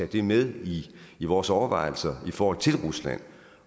det med i vores overvejelser i forhold til rusland